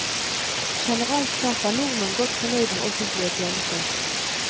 Generelt sett er nordmenn godt fornøyd med offentlige tjenester.